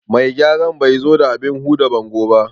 Mai gyaran ban zo da abin huda bango ba